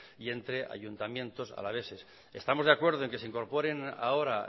y entre ayuntamientos alaveses estamos de acuerdo en que se incorporen ahora